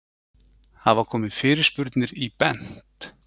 Hafa komið fyrirspurnir í Bent?